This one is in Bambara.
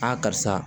karisa